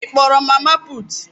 Ị kpọrọ mama putu?